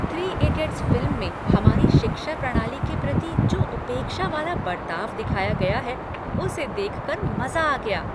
Three idiots' फिल्म में हमारी शिक्षा प्रणाली के प्रति जो उपेक्षा वाला बरताव दिखाया गया है उसे देख कर मजा आ गया।